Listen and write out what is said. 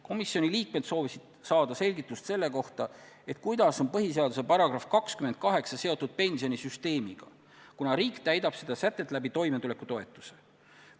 Komisjoni liikmed soovisid saada selgitust selle kohta, kuidas on põhiseaduse § 28 seotud pensionisüsteemiga, kuna riik täidab seda sätet toimetulekutoetuse kaudu.